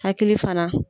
Hakili fana